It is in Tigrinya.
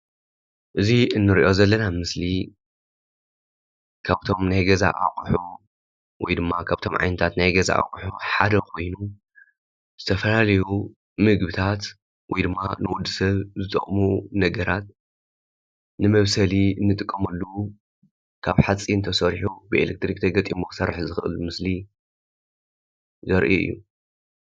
እዚ ንርኦ ዘለና ምስሊ ካብቶም ናይ ገዛ ኣቁሑ ወይድማ ካብቶም ዓይነታት ናይ ገዛ ኣቁሑ ሓደ ኮይኑ ዝተፈላለዩ ምግብታት ወይድማ ንወዲሰብ ዝጠቀሙ ነገራት ንመብሰሊ እንጥቀመሉ ካብ ሓፂን ተሰሪሑ ብኤሌትሪክ ተገጢሙ ክሰርሕ ዝክእል ምስሊ ዘርኢ እዩ።